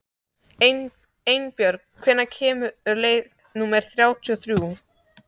Einbjörg, hvenær kemur leið númer þrjátíu og þrjú?